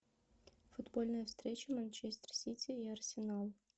футбольная встреча манчестер сити и арсенал